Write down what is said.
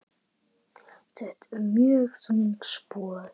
Þetta eru mjög þung spor.